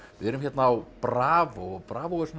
við erum hérna á bravó og bravó er svona